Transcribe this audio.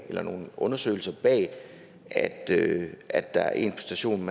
og nogle undersøgelser bag at at der er en station